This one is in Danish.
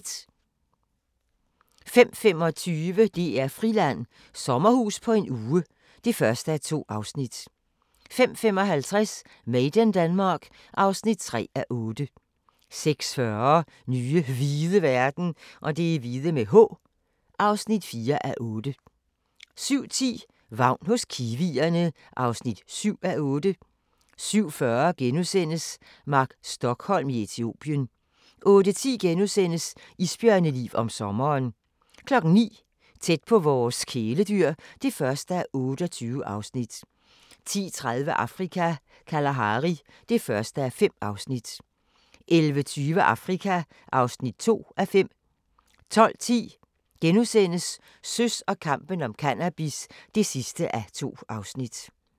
05:25: DR-Friland: Sommerhus på en uge (1:2) 05:55: Made in Denmark (3:8) 06:40: Nye hvide verden (4:8) 07:10: Vagn hos kiwierne (7:8) 07:40: Mark Stokholm i Etiopien * 08:10: Isbjørneliv om sommeren * 09:00: Tæt på vores kæledyr (1:28) 10:30: Afrika - Kalahari (1:5) 11:20: Afrika (2:5) 12:10: Søs og kampen om cannabis (2:2)*